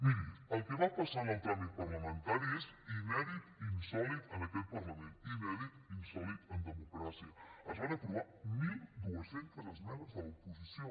miri el que va passar en el tràmit parlamentari és inèdit i insòlit en aquest parlament inèdit i insòlit en democràcia es van aprovar mil dos cents esmenes de l’oposició